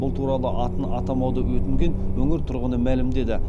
бұл туралы атын атамауды өтінген өңір тұрғыны мәлімдеді